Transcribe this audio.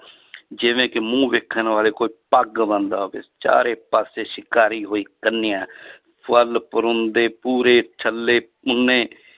ਜਿਵੇਂ ਕਿ ਮੂੰਹ ਵੇਖਣ ਵਾਲੇ ਕੋਈ ਪੱਗ ਬੰਨਦਾ ਹੋਵੇ ਚਾਰੇ ਪਾਸੇ ਸ਼ਿੰਗਾਰੀ ਹੋਈ ਕੰਨਿਆ ਪੂਰੇ ਛੱਲੇ